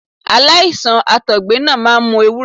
Aláìsàn Àtọ̀gbẹ náà máa ń mu ewúro.